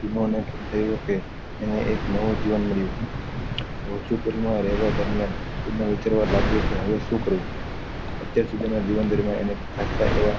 તેનોને થયું કે એને એક નવું જીવન મળ્યું માં રેહવા દર્મ્યાન તેનો વિચારવા લાગ્યો કે હવે શું કરું અત્યાર સુધી ના જીવન દર્મ્યાન એને ખાસા એવા